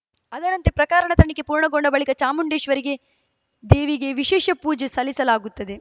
ಅದರಂತೆ ಪ್ರಕರಣದ ತನಿಖೆ ಪೂರ್ಣಗೊಂಡ ಬಳಿಕ ಚಾಮುಂಡೇಶ್ವರಿಗೆ ದೇವಿಗೆ ವಿಶೇಷ ಪೂಜೆ ಸಲ್ಲಿಸಲಾಗುತ್ತದೆ